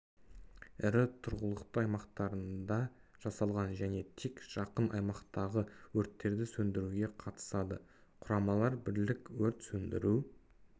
ірі тұрғылықты аймақтарында жасалған және тек жақын аймақтағы өрттерді сөндіруге қатысады құрамалар бірлік өрт сөндіру